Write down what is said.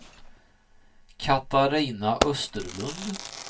Katarina Österlund